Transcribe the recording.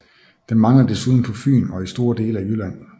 Den mangler desuden på Fyn og i store dele af Jylland